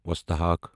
وستہِ ہاکھ